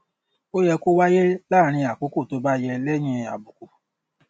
ó yẹ kó wáyé láàárín àkókò tó bá yẹ léyìn àbùkù